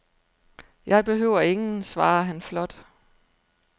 Jeg behøver ingen, svarer han flot.